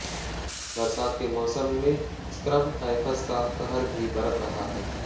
बरसात के मौसम में स्क्रब टायफस का कहर भी बरप रहा है